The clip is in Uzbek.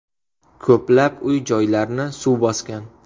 Ko‘plab uy-joylarni suv bosgan.